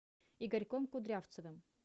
игорьком кудрявцевым